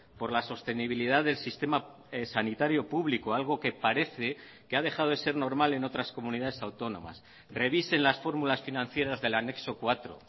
por la sostenibilidad del sistema sanitario público algo que parece que ha dejado de ser normal en otras comunidades autónomas revisen las fórmulas financieras del anexo cuatro